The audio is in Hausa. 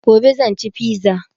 Gobe zan ci fiza